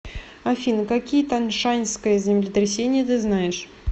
афина какие таншаньское землетрясение ты знаешь